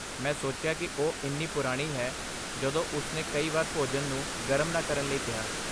ਮੈਂ ਸੋਚਿਆ ਕਿ ਉਹ ਇੰਨੀ ਪੁਰਾਣੀ ਹੈ ਜਦੋਂ ਉਸਨੇ ਕਈ ਵਾਰ ਭੋਜਨ ਨੂੰ ਗਰਮ ਨਾ ਕਰਨ ਲਈ ਕਿਹਾ।